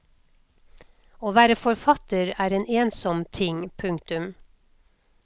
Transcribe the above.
Å være forfatter er en ensom ting. punktum